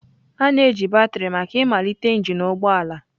a na-eji batrị maka ịmalite engine ụgbọ ala.